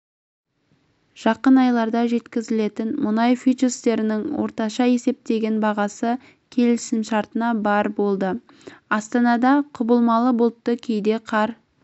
жақын айларда жеткізілетін мұнай фьючерстерінің орташа есептеген бағасы келісімшартына барр болды астанада құбылмалы бұлтты кейде қар